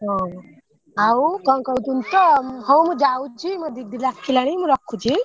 ହଁ ଆଉ କଣ କହୁଥିନି ତ ହଉ ମୁ ଯାଉଛି ମୋ ଦିଦି ଡାକିଲାଣି ମୁ ରଖୁଛି।